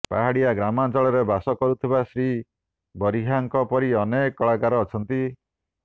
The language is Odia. ପାହାଡିଆ ଗ୍ରାମାଞ୍ଚଳରେ ବାସ କରୁଥିବା ଶ୍ରୀ ବରିହାଙ୍କ ପରି ଅନେକ କଳାକାର ଅଛନ୍ତି